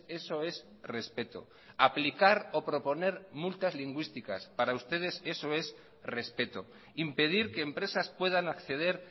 eso es respeto aplicar o proponer multas lingüísticas para ustedes eso es respeto impedir que empresas puedan acceder